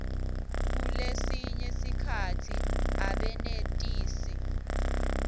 kulesinye sikhatsi abenetisi